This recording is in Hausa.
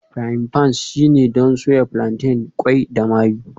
Frying pans shine don soya plantain, qwai da mayu